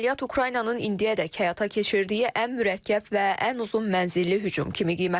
Əməliyyat Ukraynanın indiyədək həyata keçirdiyi ən mürəkkəb və ən uzun mənzilli hücum kimi qiymətləndirilir.